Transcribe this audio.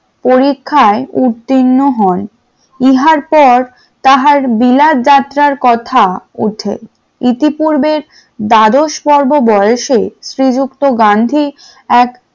পরীক্ষায় উত্তীর্ণ হয়, ইহার পর তাহার বিলাথ যাত্রার কথা ওঠে ইতিপূর্বে দ্বাদশ পর্ব বয়সের শ্রীযুক্ত গান্ধী এক